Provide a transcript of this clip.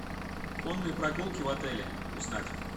конные прогулки в отеле узнать